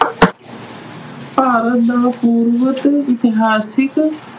ਭਾਰਤ ਦਾ ਇਤਿਹਾਸਿਕ